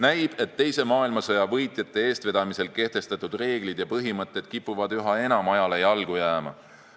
Näib, et teise maailmasõja võitjate eestvedamisel kehtestatud reeglid ja põhimõtted kipuvad üha enam ajale jalgu jääma.